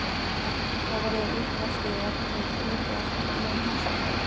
Þá verður uppvaskið ef til vill hluti af skemmtilegum húsverkum.